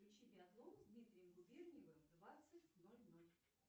включи биатлон с дмитрием губерниевым в двадцать ноль ноль